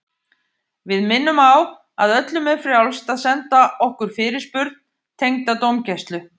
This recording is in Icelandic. Við minnum á að öllum er frjálst að senda okkur fyrirspurn tengda dómgæslu.